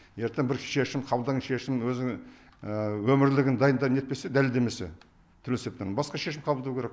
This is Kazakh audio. ертең бір шешім қабылдаған шешім өзінің өмірлігін дайында нетпесе дәлелдемесе түрлі себептермен басқа шешім қабылдау керек